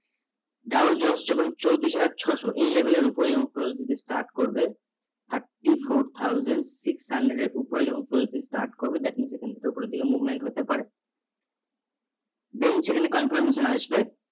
Dow Jones যখন চৌত্রিশ হাজার ছশো এই লেভেলের উপরে যখন cross দিতে start করবে thirty four thousand six hundred এর উপরে যখন start করবে that means সেখান থেকে ওপরের দিকে movement হতে পারে then সেখানে confirmation আসবে